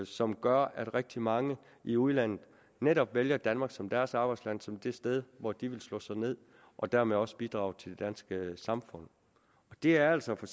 som gør at rigtig mange i udlandet netop vælger danmark som deres arbejdsland og som det sted hvor de vil slå sig ned og dermed også bidrage til det danske samfund det er altså for